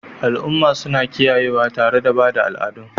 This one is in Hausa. Al'umma suna kiyayewa tare da ba da al'adun